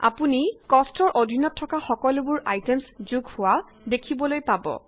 আপুনি কষ্ট ৰ অধীনত থকা সকলোবোৰ আইটেমচ যোগ হোৱা দেখিবলৈ পাব